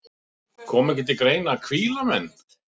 Kom ekki til greina að hvíla menn?